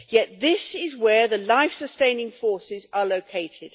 Yet this is where the life sustaining forces are located.